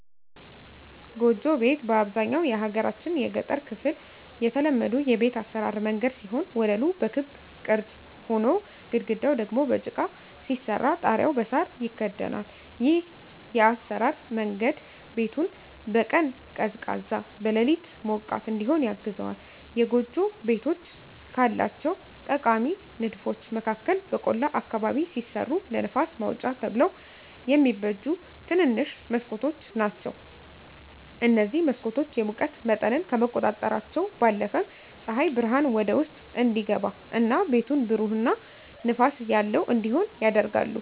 ጎጆ ቤት በአብዛኛው የሀገራችን የገጠር ክፍል የተለመዱ የቤት አሰራር መንገድ ሲሆን ወለሉ በክብ ቅርጽ ሆኖ፣ ግድግዳው ደግሞ በጭቃ ሲሰራ ጣሪያው በሳር ይከደናል። ይህ የአሰራር መንገድ ቤቱን በቀን ቀዝቃዛ፣ በሌሊት ሞቃት እዲሆን ያግዘዋል። የጎጆ ቤቶች ካላቸው ጠቃሚ ንድፎች መካከል በቆላ አካባቢ ሲሰሩ ለንፋስ ማውጫ ተብለው የሚበጁ ትንንሽ መስኮቶች ናቸዉ። እነዚህ መስኮቶች የሙቀት መጠንን ከመቆጣጠራቸው ባለፈም ፀሐይ ብርሃን ወደ ውስጥ እንዲገባ እና ቤቱን ብሩህ እና ንፋስ ያለው እንዲሆን ያደርጋሉ።